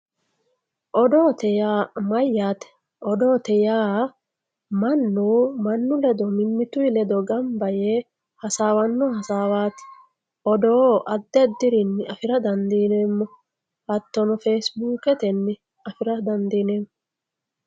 odoote yaa mayyaate odoote yaa mannu mannu ledo mimmituyi ledo ganba yee hasaawanno hasawaati odoo addi addirinni afira dandiineemmo hattono fesibuukete afira dandiineemmo